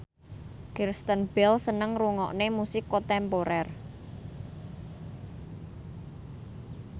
Kristen Bell seneng ngrungokne musik kontemporer